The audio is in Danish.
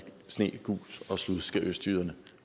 sne gus og slud skal østjyderne